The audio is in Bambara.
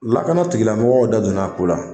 Lakana tigilamɔgɔw da donna a ko la.